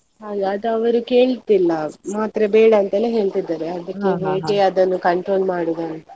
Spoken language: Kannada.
ಹಾಗೆ ಅದು ಅವರು ಕೇಳ್ತಿಲ್ಲ ಮಾತ್ರೆ ಬೇಡ ಅಂತಲೇ ಹೇಳ್ತಿದ್ದಾರೆ ಅದನ್ನು control ಮಾಡುದು ಅಂತ.